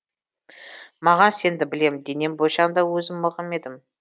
маған сенді білем денем бойшаң да өзім мығым едім